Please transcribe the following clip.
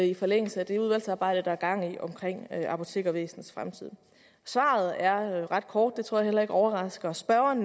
i forlængelse af det udvalgsarbejde der er gang i om apotekervæsenets fremtid svaret er ret kort det tror jeg heller ikke overrasker spørgeren